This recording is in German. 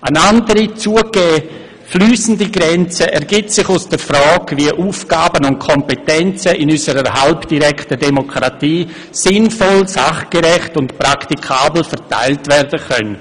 Eine andere, zugegebenermassen fliessende Grenze ergibt sich aus der Frage, wie Aufgaben und Kompetenzen in unserer halbdirekten Demokratie sinnvoll, sachgerecht und praktikabel verteilt werden können.